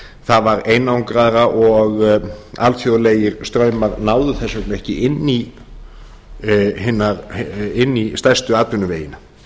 það var einangraðra og alþjóðlegir straumar náðu þess vegna ekki inn í stærstu atvinnuvegina